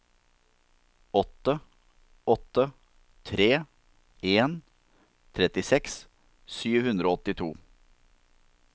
åtte åtte tre en trettiseks sju hundre og åttito